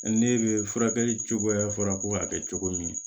Ne bɛ furakɛli cogoya fɔra ko k'a kɛ cogo min